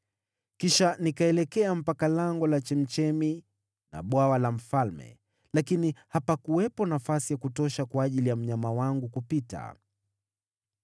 Kisha nikaelekea mpaka Lango la Chemchemi na Bwawa la Mfalme, lakini hapakuwepo nafasi ya kutosha kwa ajili ya mnyama wangu kupita,